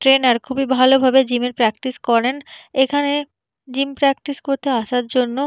trainer খুবই ভালো ভাবে জিম এর প্রাকটিস করেন এখানে জিম প্রাকটিস করতে আসার জন্য--